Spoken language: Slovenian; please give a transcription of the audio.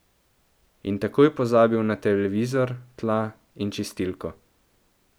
In takoj pozabil na televizor, tla in čistilko.